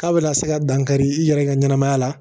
K'a bɛna se ka dankari i yɛrɛ ka ɲɛnamaya la